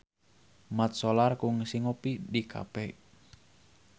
Mat Solar kungsi ngopi di cafe